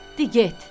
De get.